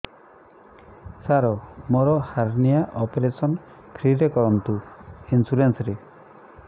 ସାର ମୋର hernia operation free ରେ କରନ୍ତୁ ଇନ୍ସୁରେନ୍ସ ରେ